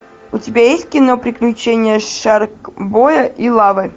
у тебя есть кино приключения шаркбоя и лавы